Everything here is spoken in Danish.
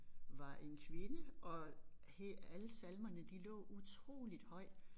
Var en kvinde og alle salmerne de lå utroligt højt